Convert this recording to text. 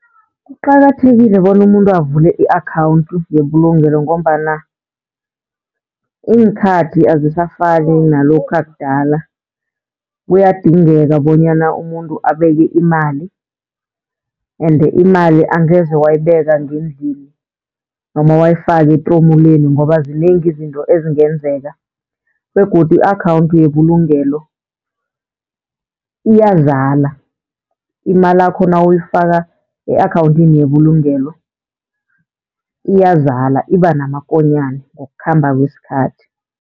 Kuqakathekile bona umuntu avule i-akhawunthu yebulugelo, ngombana iinkhathi azisafani nalokha kudala kuyadingeka bonyana umuntu abeke imali ende imali angeze wayibeka ngendlini, noma wayifaka etromuleni ngoba zinengi izinto ezingenzeka. Begodu i-akhawunthi yebulugelo iyazala, imalakho nawuyifaka e-akhawunthini yebulugelo, iyazala iba namakonyane ngokukhamba kwesikhathi.